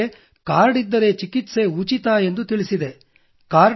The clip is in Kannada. ಅವರೆಲ್ಲರಿಗೇ ಕಾರ್ಡ್ ಇದ್ದರೆ ಚಿಕಿತ್ಸೆ ಉಚಿತ ಎಂದು ತಿಳಿಸಿದೆ